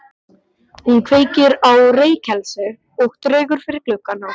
Hún kveikir á reykelsi og dregur fyrir gluggana.